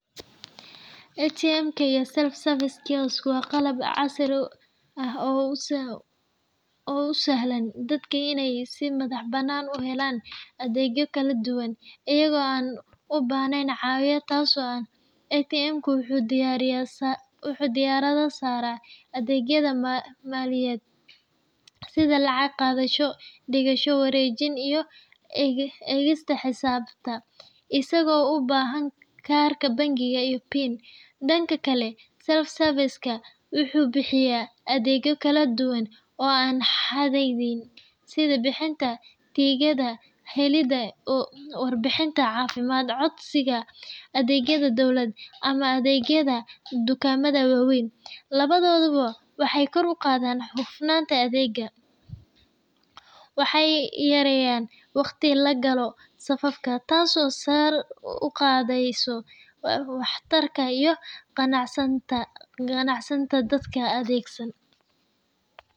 ATM-ka iyo self-service kiosk waa qalab casri ah oo u sahlaya dadka inay si madax-bannaan u helaan adeegyo kala duwan iyaga oo aan u baahnayn caawiye toos ah. ATM-ku wuxuu diiradda saaraa adeegyada maaliyadeed sida lacag-qaadasho, dhigasho, wareejin iyo eegista xisaabta, isagoo u baahan kaarka bangiga iyo PIN. Dhanka kale, self-service kiosk-ka wuxuu bixiyaa adeegyo kala duwan oo aan xadidneyn, sida bixinta tigidhada, helidda warbixinada caafimaad, codsiga adeegyada dowladda, ama adeegyada dukaamada waaweyn. Labaduba waxay kor u qaadaan hufnaanta adeegga, waxayna yareeyaan waqtiga la galo safafka, taasoo sare u qaadaysa waxtarka iyo qanacsanaanta dadka adeegsada.